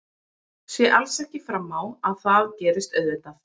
Sé alls ekki fram á að það gerist auðvitað.